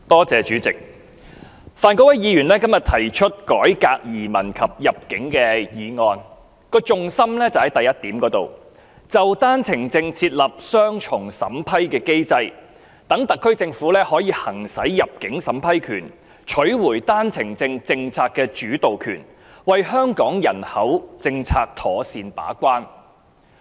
主席，范國威議員今天提出"改革移民及入境政策"議案，重心在第一點："就單程證設立雙重審批機制，讓特區政府行使入境審批權，並取回單程證政策主導權，為香港人口政策妥善把關"。